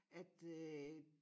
At øh